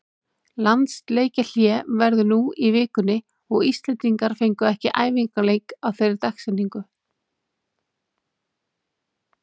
Landsleikjahlé verður nú í vikunni og Íslendingar fengu ekki æfingaleik á þeirri dagsetningu.